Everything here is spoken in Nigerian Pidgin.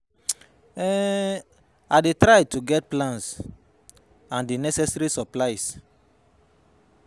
um I dey try to get plan and di necessary supplies.